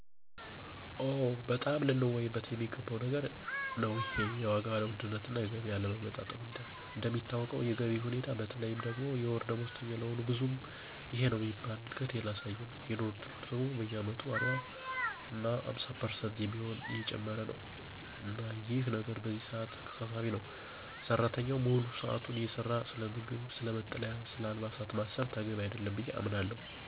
ኦ! በጣም ልንወያይበት የሚገባው ነገር ነው ይሄ የዋጋ ውድነትና የገቢ አለመጣጣም ሁኔታ። እንደሚታወቀው የገቢው ሁኔታ በተለይም ደግሞ የወር ደሞዝተኛ ለሆኑት ብዙም ይሄነው የሚባል እድገት አላሳየም። የኑሮ ወድነቱ ደግሞ በየአመቱ 40% እና 50% በሚሆን እየጨመረ ነው። እና ይህ ነገር በዚህ ሰዓት አሳሳቢ ነው። ሰራተኛው ሙሉ ሰዓቱን እየሰራ ስለምግብ፣ ስለ መጠለያና ስለ አልባሳት ማሰብ ተገቢ አይደለም ብየ አምናለሁ።